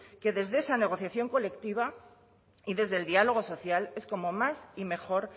que desde esa negociación colectiva y desde el diálogo social es como más y mejor